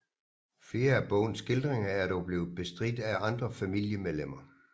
Flere af bogens skildringer er dog blevet bestridt af andre familiemedlemmer